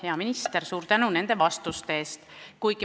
Hea minister, suur tänu nende vastuste eest!